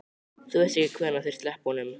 Þú veist ekkert hvenær þeir sleppa honum?